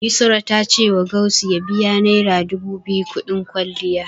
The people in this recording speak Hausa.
Yusra ta cewa Gausu ya biya naira dubu biyu kuɗin kwalliya.